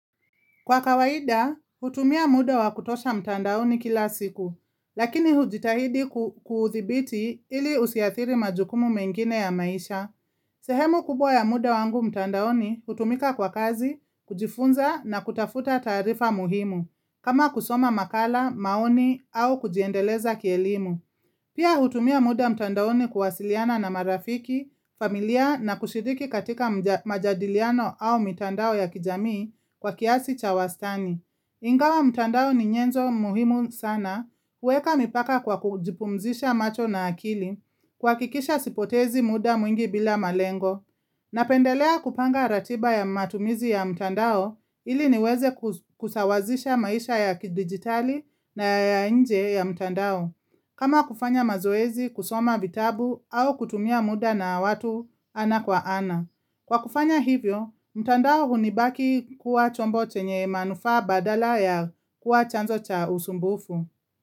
Kwa kawaida, hutumia muda wa kutosha mtandaoni kila siku, lakini hujitahidi kuhuthibiti ili usiathiri majukumu mengine ya maisha. Sehemu kubwa ya muda wangu mtandaoni hutumika kwa kazi, kujifunza na kutafuta tarifa muhimu, kama kusoma makala, maoni au kujiendeleza kielimu. Pia hutumia muda mtandaoni kuwasiliana na marafiki, familia na kushidiki katika majadiliano au mtandao ya kijamii kwa kiasi cha wastani. Ingawa mtandao ni nyenzo muhimu sana, uweka mipaka kwa kujipumzisha macho na akili, kwa kikisha sipotezi muda mwingi bila malengo. Napendelea kupanga ratiba ya matumizi ya mtandao ili niweze kusawazisha maisha ya digitali na ya nje ya mtandao. Kama kufanya mazoezi kusoma vitabu au kutumia muda na watu ana kwa ana. Kwa kufanya hivyo, mtandao hunibaki kuwa chombo chenye manufa badala ya kuwa chanzo cha usumbufu.